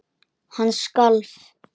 Hann skalf.